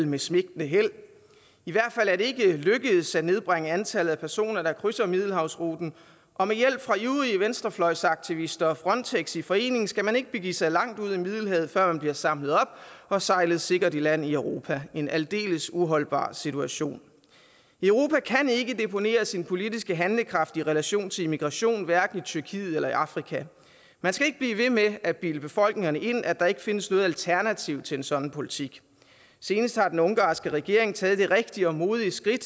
med svigtende held i hvert fald er det ikke lykkedes at nedbringe antallet af personer der krydser middelhavsruten og med hjælp fra ivrige venstrefløjsaktivister og frontex i forening skal man ikke begive sig langt ud i middelhavet før man blive samlet op og sejlet sikkert i land i europa det en aldeles uholdbar situation europa kan ikke deponere sin politiske handlekraft i relation til immigration hos hverken tyrkiet eller i afrika man skal ikke blive ved med at bilde befolkningerne ind at der ikke findes noget alternativ til en sådan politik senest har den ungarske regering taget det rigtige og modige skridt